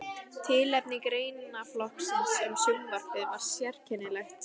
Tilefni greinaflokksins um sjónvarpið var sérkennilegt.